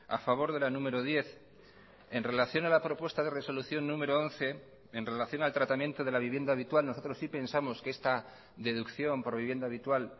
a favor de la número diez en relación a la propuesta de resolución número once en relación al tratamiento de la vivienda habitual nosotros sí pensamos que esta deducción por vivienda habitual